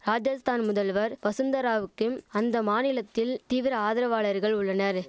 ராஜஸ்தான் முதல்வர் வசுந்தராவுக்கும் அந்த மாநிலத்தில் தீவிர ஆதரவாளர்கள் உள்ளனர்